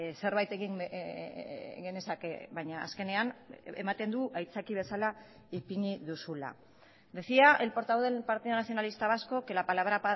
zerbait egin genezake baina azkenean ematen du aitzaki bezala ipini duzula decía el portavoz del partido nacionalista vasco que la palabra